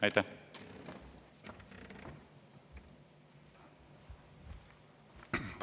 Aitäh!